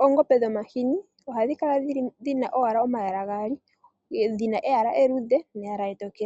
oongombe dhomahini ohadhi kala owala dhina omayala gaali, dhina eyala eluudhe neyala etokele.